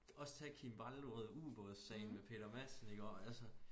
Også tag Kim Wall du ved ubådsagen med Peter Madsen iggå altså